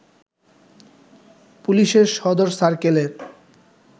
পুলিশের সদর সার্কেলের